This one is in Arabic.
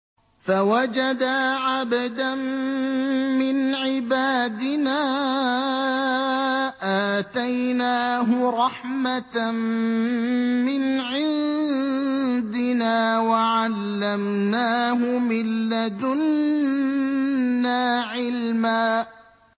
فَوَجَدَا عَبْدًا مِّنْ عِبَادِنَا آتَيْنَاهُ رَحْمَةً مِّنْ عِندِنَا وَعَلَّمْنَاهُ مِن لَّدُنَّا عِلْمًا